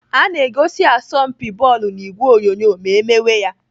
Ana egosi asọmpi bọọlụ n'ìgwè onyonyo ma emewe ya.